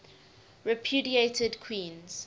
repudiated queens